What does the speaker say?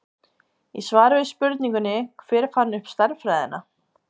Í svari við spurningunni Hver fann upp stærðfræðina?